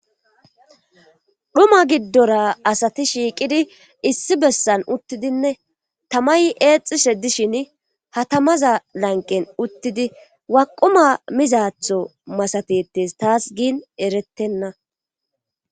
Dhuma giddora asati shiiqidi issi bessan uttidinne tamay eexxishe dishin hatamaza lanqen uttidi waquma mizaatho masatettes taas giin erettenna.